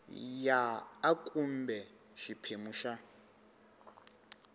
ya a kumbe xiphemu xa